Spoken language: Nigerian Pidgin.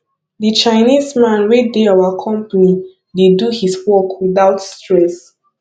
the chinese man wey dey our company dey do his work without stress